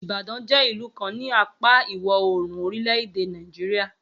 Ibadan jé ìlú kan ni apáa ìwọ̀ oòrùn orílẹ̀-èdè Nàìjíríà